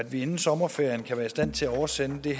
vi inden sommerferien kan være i stand til at oversende det